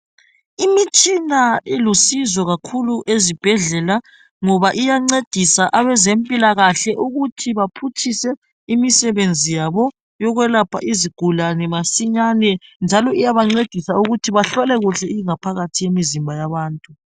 Imitshina ilusizo kakhulu ezibhedlela ngoba iyancedisa abezempilakahle ukuthi baphutshise imisebenzi yabo yokwelapha izigulane masinyane njalo iyabancedisa ukuthi bahlole kuhle ingaphakathi yemizimba yabantu.